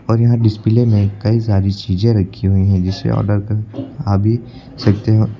और यहां डिस्प्ले में कई सारी चीजें रखी हुई हैं जिसे ऑर्डर कर खा भी सकते हैं।